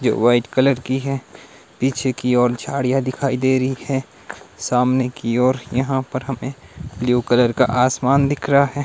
White colour की है पीछे की ओर झाड़ियां दिखाई दे रही है सामने की ओर यहां पर हमें ब्लू कलर का आसमान दिख रहा है।